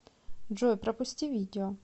джой пропусти видео